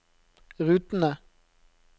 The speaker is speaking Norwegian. rutene